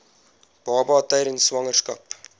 baba tydens swangerskap